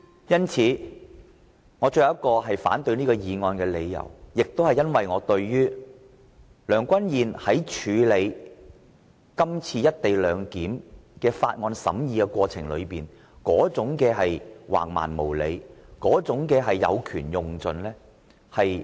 因此，我最後一項反對這項議案的理由，是因為我不滿意主席梁君彥議員在《條例草案》的審議過程中橫蠻無理及有權用盡。